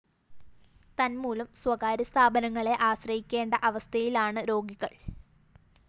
തന്മൂലം സ്വകാര്യ സ്ഥാപനങ്ങളെ ആശ്രയിക്കേണ്ട അവസ്ഥയിലാണ് രോഗികള്‍